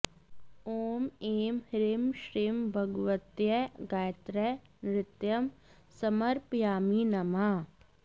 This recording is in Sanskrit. ॐ ऐं ह्रीं श्रीं भगवत्यै गायत्र्यै नृत्यं समर्पयामि नमः